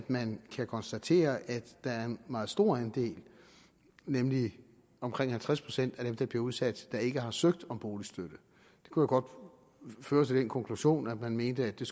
man kan konstatere at der er en meget stor andel nemlig omkring halvtreds procent af dem der bliver udsat der ikke har søgt om boligstøtte det kunne godt føre til den konklusion at man mente at det